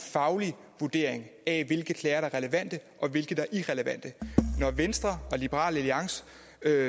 faglig vurdering af hvilke klager der er relevante og hvilke der er irrelevante når venstre og liberal alliance